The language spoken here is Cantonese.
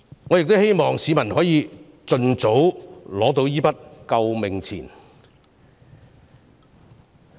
我希望市民可以盡早收到這筆"救命錢"。